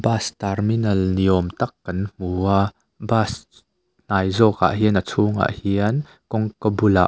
bus terminal ni awm tak kan hmua bus hnai zawkah hian a chhungah hian kawngka bulah.